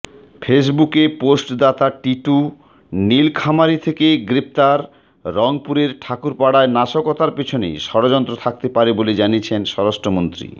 ফেসবুকে পোস্টদাতা টিটু নীলফামারী থেকে গ্রেফতাররংপুরের ঠাকুরপাড়ায় নাশকতার পেছনে ষড়যন্ত্র থাকতে পারে বলে জানিয়েছেন স্বরাষ্ট্রমন্ত্রী